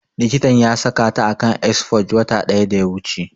Likitan ya saka ta a kan exforge wata ɗaya da ya wuce